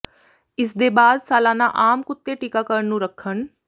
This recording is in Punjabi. ਇਸ ਦੇ ਬਾਅਦ ਸਾਲਾਨਾ ਆਮ ਕੁੱਤੇ ਟੀਕਾਕਰਣ ਨੂੰ ਰੱਖਣ